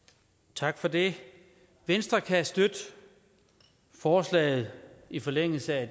tak for det venstre kan støtte forslaget i forlængelse af